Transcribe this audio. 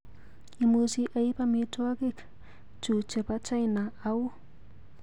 Imuchi aip amitwagik chuchebo china au?